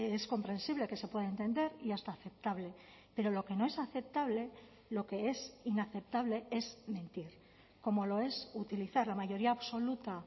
es comprensible que se puede entender y hasta aceptable pero lo que no es aceptable lo que es inaceptable es mentir como lo es utilizar la mayoría absoluta